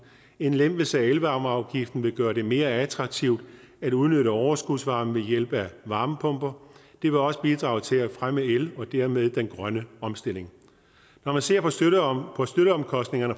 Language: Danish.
en lempelse af elvarmeafgiften vil gøre det mere attraktivt at udnytte overskudsvarme ved hjælp af varmepumper det vil også bidrage til at fremme el og dermed den grønne omstilling når man ser